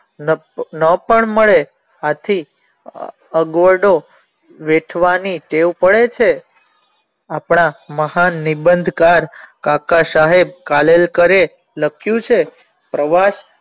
ન ન પણ મળે આથી અગવડો વેઠવાની ટેવ પડે છે આપણા મહાન નિબઁધ કાર કાકા સાહેબ કાલેલકરે લખ્યું છે પ્રવાસ